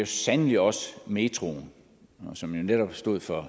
sandelig også metroen som jo netop stod for